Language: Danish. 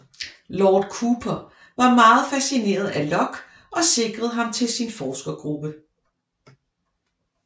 Lord Cooper var meget fascineret af Locke og sikrede ham til sin forskergruppe